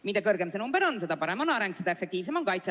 Mida kõrgem see number on, seda parem on areng, seda efektiivsem on kaitse.